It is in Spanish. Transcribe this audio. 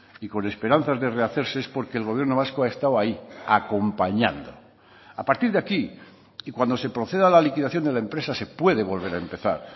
y con esperanzas de rehacerse es porque el gobierno vasco ha estado ahí acompañando a partir de aquí y cuando se proceda a la liquidación de la empresa se puede volver a empezar